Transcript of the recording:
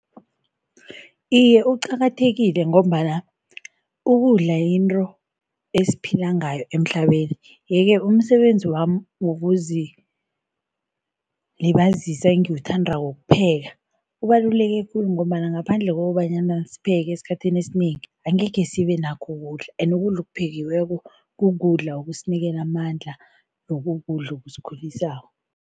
Iye, uqakathekile ngombana ukudla yinto esiphila ngayo emhlabeni yeke umsebenzi wami wokuzilibazisa engiwuthandako wokupheka ubaluleke khulu ngombana ngaphandle kobanyana sipheke esikhathini esinengi, angekhe sibe nakho ukudla ende ukudla okuphekiweko kukudla okusinikela amandla nokukudla ekusikhulisako.